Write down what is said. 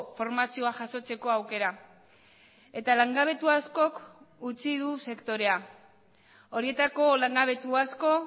formazioa jasotzeko aukera eta langabetu askok utzi du sektorea horietako langabetu asko